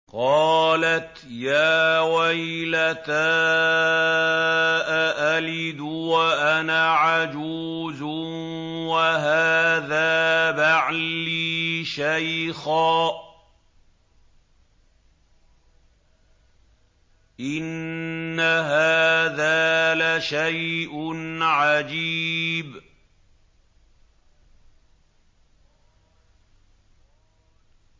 قَالَتْ يَا وَيْلَتَىٰ أَأَلِدُ وَأَنَا عَجُوزٌ وَهَٰذَا بَعْلِي شَيْخًا ۖ إِنَّ هَٰذَا لَشَيْءٌ عَجِيبٌ